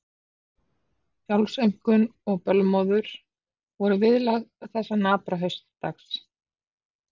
Sjálfsaumkun og bölmóður voru viðlag þessa napra haustdags.